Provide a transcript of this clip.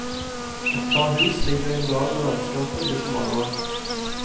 Et par hus ligger i en dal der landskapet blir smalere.